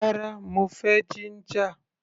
Rárá, mo fẹ́ jíńjà.